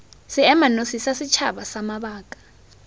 seemanosi sa setšhaba sa mabaka